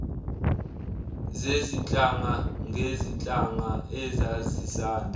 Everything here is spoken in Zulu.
zezinhlanga ngezinhlanga ezazisanda